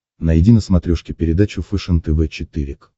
найди на смотрешке передачу фэшен тв четыре к